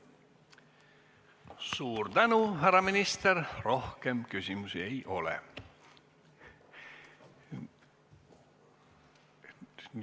Suur tänu, härra minister, rohkem küsimusi ei ole!